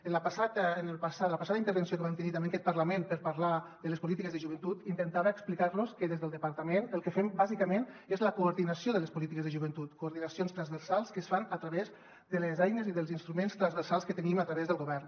en la passada intervenció que vam tenir també en aquest parlament per parlar de les polítiques de joventut intentava explicar los que des del departament el que fem bàsicament és la coordinació de les polítiques de joventut coordinacions transversals que es fan a través de les eines i dels instruments transversals que tenim a través del govern